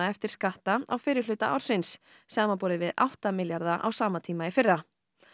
eftir skatta á fyrri hluta ársins samanborið við átta milljarða á sama tíma í fyrra